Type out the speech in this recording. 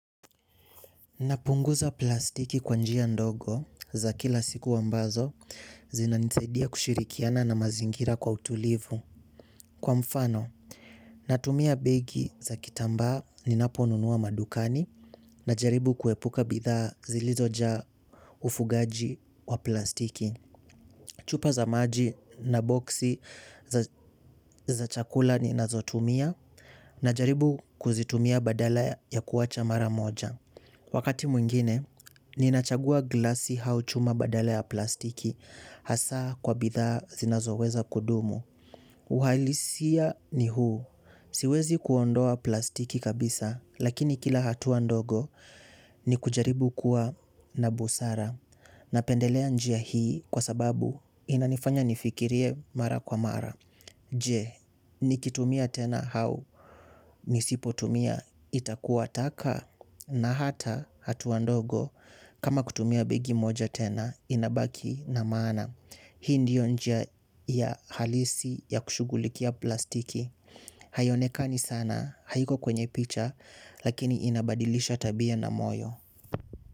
Napunguza plastiki kwa njia ndogo za kila siku ambazo zinanisaidia kushirikiana na mazingira kwa utulivu. Kwa mfano, natumia begi za kitambaa ninaponunua madukani najaribu kuepuka bidhaa zilizojaa ufugaji wa plastiki. Chupa za maji na boksi za chakula ninazotumia najaribu kuzitumia badala ya kuacha mara moja. Wakati mwingine, ninachagua glasi au chuma badala ya plastiki hasa kwa bidhaa zinazoweza kudumu. Uhalisia ni huu. Siwezi kuondoa plastiki kabisa, lakini kila hatua ndogo ni kujaribu kuwa na busara. Napendelea njia hii kwa sababu inanifanya nifikirie mara kwa mara. Je, nikitumia tena au, nisipotumia, itakuwa taka, na hata hatua ndogo, kama kutumia begi moja tena, inabaki na maana. Hii ndiyo njia ya halisi ya kushughulikia plastiki. Haionekani sana, haiko kwenye picha, lakini inabadilisha tabia na moyo.